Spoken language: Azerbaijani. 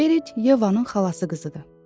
Berit Yevanın xalası qızıdır.